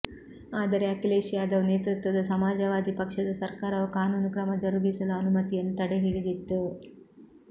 ಆದರೆ ಅಖಿಲೇಶ್ ಯಾದವ್ ನೇತೃತ್ವದ ಸಮಾಜವಾದಿ ಪಕ್ಷದ ಸರ್ಕಾರವು ಕಾನೂನು ಕ್ರಮ ಜರುಗಿಸಲು ಅನುಮತಿಯನ್ನು ತಡೆಹಿಡಿದಿತ್ತು